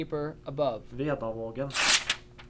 Vedavågen